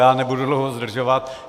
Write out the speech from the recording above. Je nebudu dlouho zdržovat.